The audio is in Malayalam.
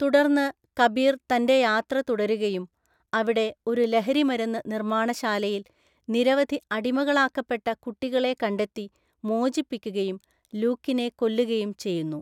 തുടർന്ന് കബീർ തൻ്റെ യാത്ര തുടരുകയും അവിടെ ഒരു ലഹരിമരുന്ന് നിർമ്മാണശാലയിൽ നിരവധി അടിമകളാക്കപ്പെട്ട കുട്ടികളെ കണ്ടെത്തി മോചിപ്പിക്കുകയും ലൂക്കിനെ കൊല്ലുകയും ചെയ്യുന്നു.